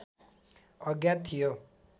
अज्ञात थियो